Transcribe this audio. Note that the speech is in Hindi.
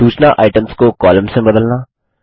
सूचना आइटम्स को कॉलम्स में बदलना